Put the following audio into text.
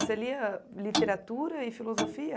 Você lia literatura e filosofia?